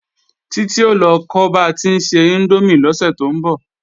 Titi o lọ kọ́ ba tí ń se índómì lọ́sẹ̀ tó ń bọ̀